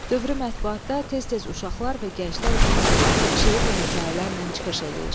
Dövrü mətbuatda tez-tez uşaqlar və gənclər üçün yazdığı şeir və hekayələrlə çıxış eləyir.